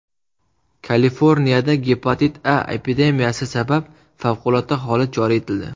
Kaliforniyada gepatit A epidemiyasi sabab favqulodda holat joriy etildi.